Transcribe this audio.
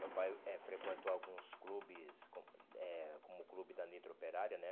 Meu pai eh frequentou alguns clubes, como eh como o clube da Nitro Operária, né?